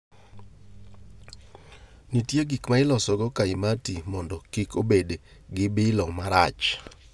nitie gik ma itiyogo loso kaimati mondo kik obed gi bilo marach